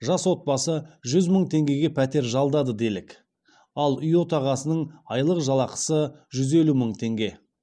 жас отбасы жүз мың теңгеге пәтер жалдады делік ал үй отағасының айлық жалақысы жүз елу мың теңге